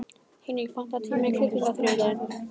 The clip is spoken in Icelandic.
Hinrik, pantaðu tíma í klippingu á þriðjudaginn.